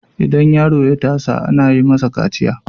idan yaro ya tasa ana yi masa kaciya